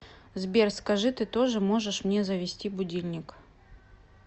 сбер скажи ты тоже можешь мне завести будильник